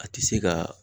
A tɛ se ka